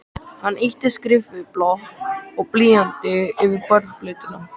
Hann ýtti skrifblokk og blýanti yfir borðplötuna.